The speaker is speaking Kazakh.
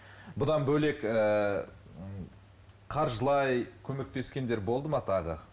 бұдан бөлек ыыы қаржылай көмектескендер болды ма тағы